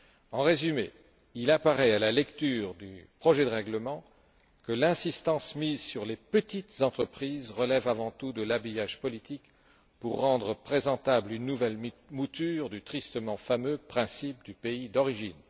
En résumé, il apparaît à la lecture du projet de règlement que l'insistance mise sur les petites entreprises relève avant tout de l'habillage politique pour rendre présentable une nouvelle mouture du tristement fameux principe du pays d'origine.